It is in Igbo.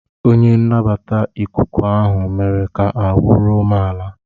Onye nnabata ikuku ahụ mere ka ahụ́ ruo m ala.